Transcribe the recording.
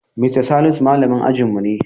Mista Salisu malamin ajinmu ne.